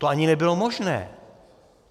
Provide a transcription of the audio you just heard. To ani nebylo možné.